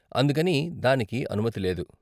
అందుకని దానికి అనుమతి లేదు.